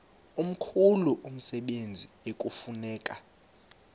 mkhulu umsebenzi ekufuneka